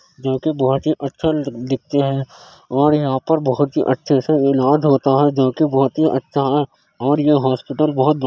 जो कि बोहोत ही अच्छा दिख दिखता है और यहां पर बोहोत ही अच्छे से इलाज होता है जो कि बोहोत ही अच्छा है और यह हॉस्पिटल बोहोत बढ़ --